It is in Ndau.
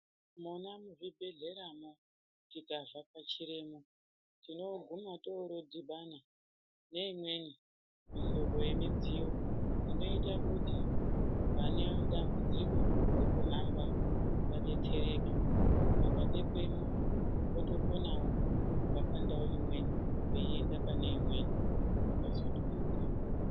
Nanya muzvibhedhlera mwo tikavhakachiremwo tinoguma torodhibana neimweni mihlobo yemidziyo inoita kuti vane dambudziko rekuhamba vadetsereke vakabekwemwo votokonawo kubva pandau imweni veienda pane imweni zvakasunturika.